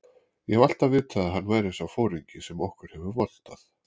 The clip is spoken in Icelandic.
Ég hef alltaf vitað að hann væri sá foringi sem okkur hefur vantað.